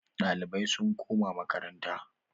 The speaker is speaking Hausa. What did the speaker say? Ɗalibai sun koma makaranta.